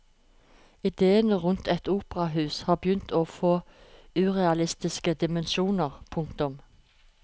Idéene rundt et operahus har begynt å få urealistiske dimensjoner. punktum